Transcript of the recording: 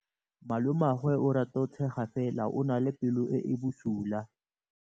Malomagwe o rata go tshega fela o na le pelo e e bosula.